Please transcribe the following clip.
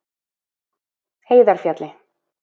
Heiðarfjalli